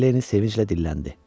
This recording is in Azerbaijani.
deyə Lenni sevinclə dilləndi.